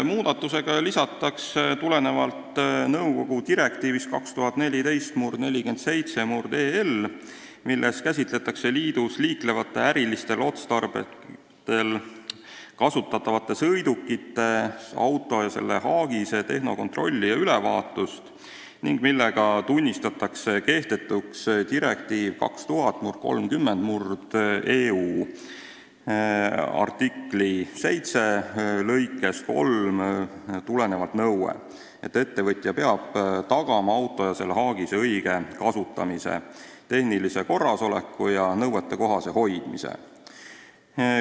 Muudatusega lisatakse tulenevalt nõukogu direktiivi 2014/47/EL, milles käsitletakse liidus liiklevate ärilisel otstarbel kasutatavate sõidukite tehnokontrolli ja -ülevaatust ning millega tunnistatakse kehtetuks direktiiv 2000/30/EÜ, artikli 7 lõikest 3 nõue, et ettevõtja peab tagama auto ja selle haagise õige kasutamise, tehnilise korrasoleku ja nõuetekohase hoidmise.